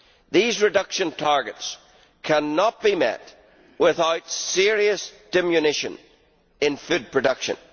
These reduction targets cannot be met without serious diminution in food production.